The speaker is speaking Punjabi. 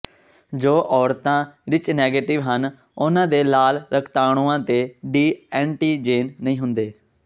ਜੋ ਔਰਤਾਂ ਰਿੱਚ ਨੈਗੇਟਿਵ ਹਨ ਉਨ੍ਹਾਂ ਦੇ ਲਾਲ ਰਕਤਾਣੂਆਂ ਤੇ ਡੀ ਐਂਟੀਜੇਨ ਨਹੀਂ ਹੁੰਦੇ